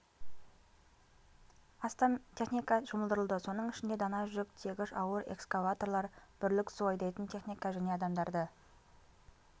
астам техника жұмылдырылды соның ішінде дана жүк тиегіш ауыр экскаваторлар бірлік су айдайтын техника және адамдарды